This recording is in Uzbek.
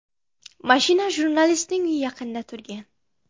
Mashina jurnalistning uyi yaqinida turgan.